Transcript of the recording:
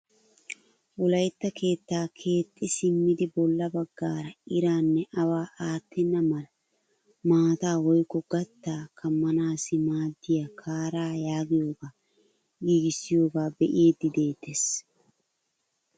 Wolayttaa keettaa keexxi simmidi bolla baggaara iraanne awaa aattenna mala maataa woykko gattaa kammanaassi maaddiyaa kaaraa yaagiyoogaa giigissiyoogaa bee'idi de'eettees.